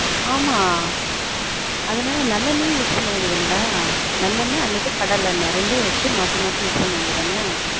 ஆமா அதுனால நல்லெண்ணயே use பண்ண வேண்டியது தான டா நல்லெண்ண அல்லது கடலெண்ண ரெண்டயும் வச்சு மாத்தி மாத்தி use பண்ண வேண்டியது தானே